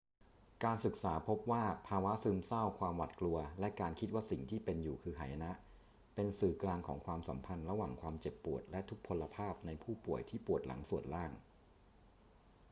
การศึกษาพบว่าภาวะซึมเศร้า ความหวาดกลัว และการคิดว่าสิ่งที่เป็นอยู่คือหายนะ เป็นสื่อกลางของความสัมพันธ์ระหว่างความเจ็บปวดและทุพพลภาพในผู้ป่วยที่ปวดหลังส่วนล่าง